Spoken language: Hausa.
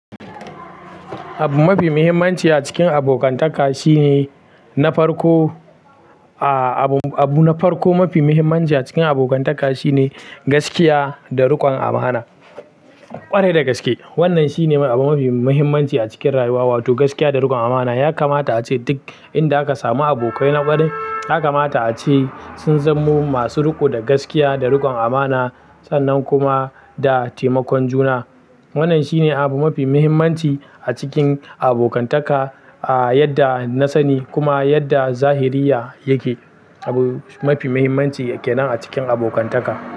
Abu mafi muhimmanci a cikin abokantaka shine na farko, aa abu abu na farko mafi muhimmanci a cikin abokantaka shine gaskiya da rikon amana. Ƙwarai da gaske. Wannan shine ma abu mafi mahimmanci a cikin rayuwa, wato gaskiya da rikon amana. Ya kamata ace duk inda aka samu abokai na kwarai ya kamata ace sun zamo masu riko da gaskiya da rikon amana sannan kuma da taimakon juna. Wannan shine abu mafi muhimmanci a cikin abokantaka, a yadda na sani kuma yadda zahiriya yake. Abu mafi muhimmanci kenan a cikin abokantaka.